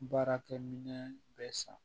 Baarakɛ minɛ bɛ san